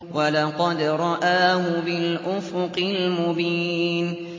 وَلَقَدْ رَآهُ بِالْأُفُقِ الْمُبِينِ